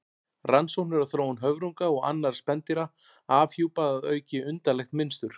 Rannsóknir á þróun höfrunga og annarra spendýra afhjúpa að auki undarlegt mynstur.